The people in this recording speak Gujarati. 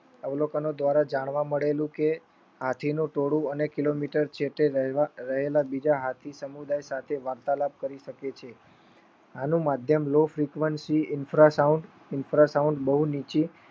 જાણવા મળેલું કે હાથીનું ટોળું અને કિલોમીટર જેતે રહેલા બીજા હાથી સમુદાય સાથે વાર્તાલાપ કરી શકે છે. આનું માધ્યમ લોકશીકવંશી ઇન્ફ્રાસોન્દ બહુ નીચી